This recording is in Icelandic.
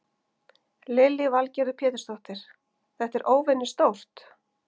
Lillý Valgerður Pétursdóttir: Þetta er óvenjustórt?